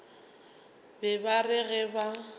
be ba re ge ba